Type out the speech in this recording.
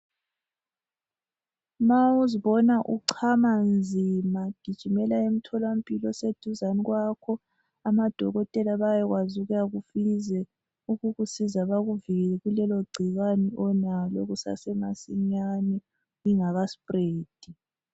Ma uzibona uchama nzima gijimela emtholampilo oseduzane kwakho amadokotela babekwazi ukuyakhangela ukuze bakuvikele kulelogcikwane onalo kusasemasinyane lingakaspread.